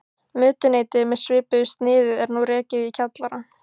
Mötuneyti með svipuðu sniði er nú rekið í kjallara